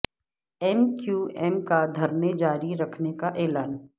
M Q M کا دھرنے جاری رکھنے کا اعلان